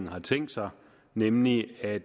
har tænkt sig nemlig at